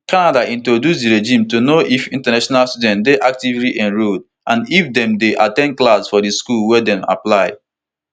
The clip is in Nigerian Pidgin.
canada introduce di regime to know if international students dey actively enrolled and if dem dey at ten d classes for di school wey dem apply to